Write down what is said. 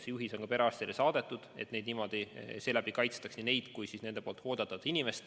See juhis on perearstidele saadetud, et niimoodi kaitstakse nii neid inimesi kui nende hooldatavaid.